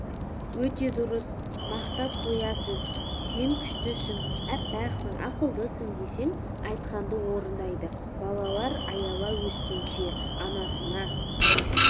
өте дұрыс мақтап қоясыз сен күштісің әппақсың ақылдысың десең айтқанды орындайды балалар аяла өскенше анасына